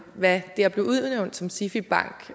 hvad det at blive udnævnt som sifi bank